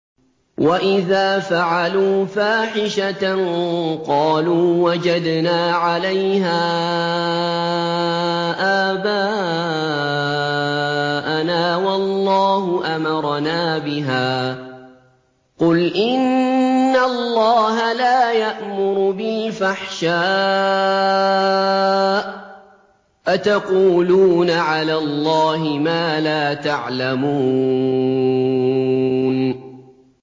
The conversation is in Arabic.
وَإِذَا فَعَلُوا فَاحِشَةً قَالُوا وَجَدْنَا عَلَيْهَا آبَاءَنَا وَاللَّهُ أَمَرَنَا بِهَا ۗ قُلْ إِنَّ اللَّهَ لَا يَأْمُرُ بِالْفَحْشَاءِ ۖ أَتَقُولُونَ عَلَى اللَّهِ مَا لَا تَعْلَمُونَ